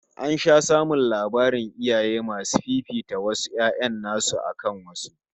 An sha samun labarin iyaye masu fifita wasu 'ya'yan nasu akan wasu